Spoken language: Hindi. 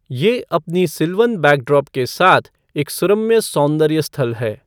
ये अपनी सिल्वन बैकड्रॉप के साथ एक सुरम्य सौंदर्य स्थल है।